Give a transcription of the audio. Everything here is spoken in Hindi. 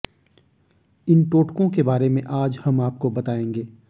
इन टोटकों के बारे में आज हम आपको बताएंगे